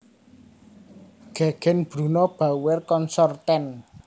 Gegen Bruno Bauer Consorten